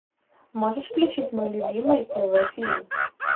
можешь включить мой любимый тв фильм